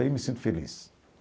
Aí me sinto feliz.